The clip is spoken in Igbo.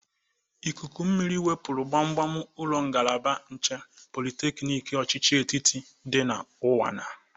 Ikuku mmiri fepuru gbamgbam ụlọ ngalaba nche pọlịteknik ochichi etiti dị na ụnwana.